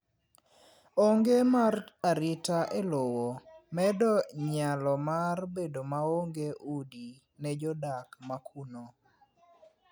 Onge mar arito e lowo, medo nyalo mar bedo maonge udi ne jodak ma kuno.